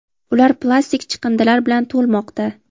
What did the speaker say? ular plastik chiqindilar bilan to‘lmoqda.